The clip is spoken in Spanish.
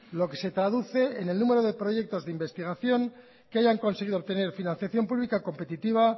lo que se traduce en el número de proyectos de investigación que hayan conseguido obtener financiación pública competitiva